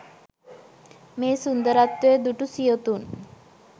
මේ සුන්දරත්වය දුටු සියොතුන්